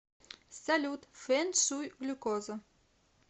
салют фэн шуй глюкоза